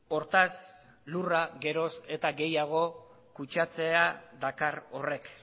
hortaz lurra geroz eta gehiago kutsatzea dakar horrek